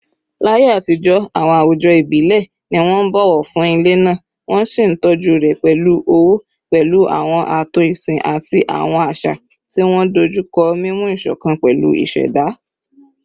Láyé àtijọ́, àwọn àwùjọ ìbílẹ̀ ni wọ́n ń bọ̀wọ̀ fún ilẹ̀ náà, wọ́n sì ń tọ́jú rẹ̀ pẹ̀lú ọ̀wọ̀, pẹ̀lú àwọn ààtò ìsìn àti àwọn àṣà tí wọ́n dojú kọ mímú ìṣọ̀kan pẹ̀lú ìṣẹ̀dá.